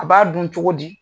A b'a dun cogo di.